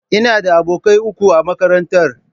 Ina da abokai uku a makarantar.